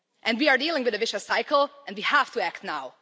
We are dealing with a vicious cycle and we have to act now.